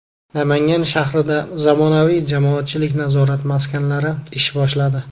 Namangan shahrida zamonaviy jamoatchilik nazorat maskanlari ish boshladi .